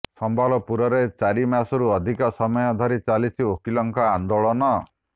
ସମ୍ବଲପୁରରେ ଚାରି ମାସରୁ ଅଧିକ ସମୟ ଧରି ଚାଲିଛି ଓକିଲଙ୍କ ଆନ୍ଦୋଳନ